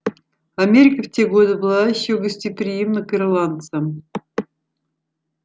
америка в те годы была ещё гостеприимна к ирландцам